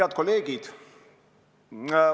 Head kolleegid!